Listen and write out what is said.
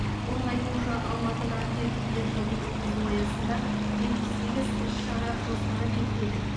оның айтуынша алматыда еріктілер жылын өткізу аясында жетпіс сегіз іс шара жоспары бекітілді